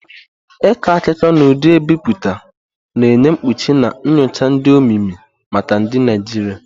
Ịkọ akụkọ n'ụdị ebipụta, na-enye mkpuchi na nyocha dị omimi maka ndị Naijiria.